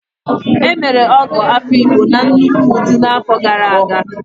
E mere Ọgọ Afiikpo na nnukwu ụdị n'afọ gara aga.